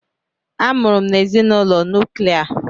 A mụrụ m n'ezinụlọ nuklia.